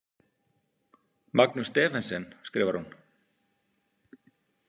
Magnús Stephensen, skrifar hún.